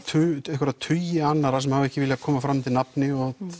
einhverja tugi annarra sem hafa ekki viljað koma fram undir nafni